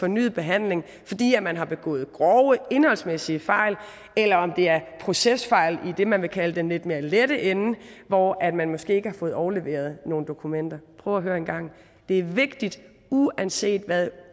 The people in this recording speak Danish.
fornyet behandling fordi man har begået grove indholdsmæssige fejl eller det er procesfejl i det man vil kalde den lidt mere lette ende hvor man måske ikke har fået overleveret nogle dokumenter prøv at høre en gang det er vigtigt uanset hvad